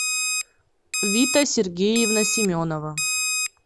вита сергеевна семенова